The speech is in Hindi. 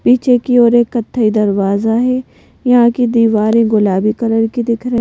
पीछे की ओर एक कत्थई दरवाजा है यहाँ की दीवारें गुलाबी कलर की दिख रही --